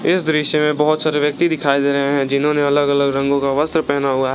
इस दृश्य में बहोत सारे व्यक्ति दिखाई गए है जिन्होंने अलग अलग रंगों का वस्त्र पहना हुआ--